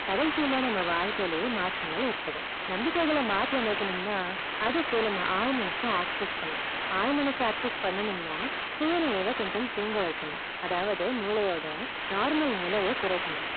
கடைசில நம்ம வாழ்க்கையிலே மாற்றங்கள் ஏற்படும் நம்பிக்கைகள மாற்றி அமைக்கனும்னா அதுக்கு நம்ம ஆள் மனச access பண்ணனும் ஆள் மனச access பண்ணனும்னா சுயநினைவ கொஞ்சம் தூங்க வைக்கணும் அதாவது மூளையோட normal நிலைய குறைக்கணும்